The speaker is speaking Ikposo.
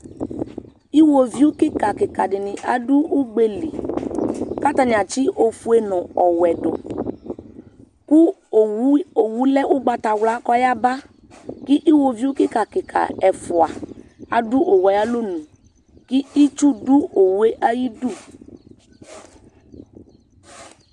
Iwoviu kika dini adʋ uwili kʋ atani atsi ofue nʋ ɔwɛdʋ kʋ owʋ lɛ ʋgbatawla kʋ ɔyaba kʋ iwoviu kika kika ɛfʋa adʋ owʋe ayʋ alɔnʋ kʋ itsʋdʋ owʋe ayʋ idʋ